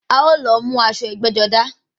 A ó lọ mú aṣọ ẹgbẹ́-jọdá.